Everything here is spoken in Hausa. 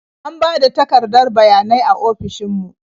An ba da takardar bayanai a ofishin mu.